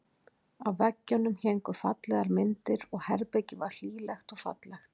Á veggjunum héngu fallegar myndir og herbergið var hlýlegt og fallegt.